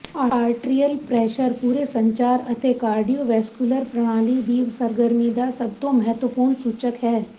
arterial pressure ਪੂਰੇ ਸੰਚਾਰ ਅਤੇ ਕਾਰਡੀਓਵੈਸਕੁਲਰ ਪ੍ਰਣਾਲੀ ਦੀ ਸਰਗਰਮੀ ਦਾ ਸਭ ਤੋਂ ਮਹੱਤਵਪੂਰਨ ਸੂਚਕ ਹੈ